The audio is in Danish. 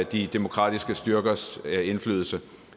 de demokratiske styrkers indflydelse